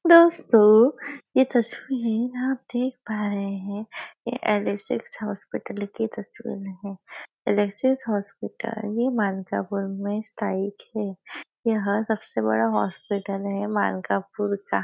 दोस्तों यह तस्वीर आप देख पा रहे है यह ऍलेक्सएस हॉस्पिटल की तस्वीर है ऍलेक्सएस हॉस्पिटल में मानकापूर में स्तायित है यहाँ सबसे बड़ा हॉस्पिटल है मानकापूर का।